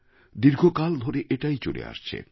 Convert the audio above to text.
দীর্ঘকাল ধরে এটাই চলে আসছে